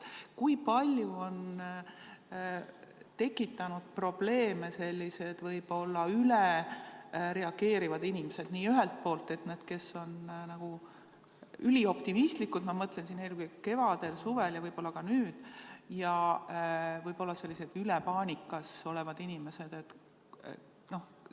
Kui palju on tekitanud probleeme sellised ülereageerivad inimesed, ühelt poolt need, kes on ülioptimistlikud – ma mõtlen siin eelkõige kevadel, suvel ja võib-olla ka nüüd –, ja teiselt poolt paanikas olevad inimesed?